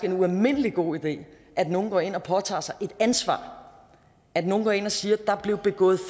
en ualmindelig god idé at nogen går ind og påtager sig et ansvar at nogen går ind og siger der blev begået